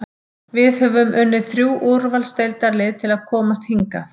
Við höfum unnið þrjú úrvalsdeildarlið til að komast hingað.